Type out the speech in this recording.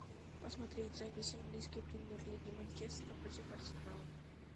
посмотреть запись английской премьер лиги манчестера против арсенала